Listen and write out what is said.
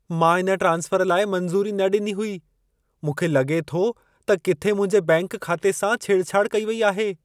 मां इन ट्रांस्फर लाइ मंज़ूरी न ॾिनी हुई। मूंखे लॻे थो त किथे मुंहिंजे बैंक खाते सां छेड़छाड़ कई वई आहे।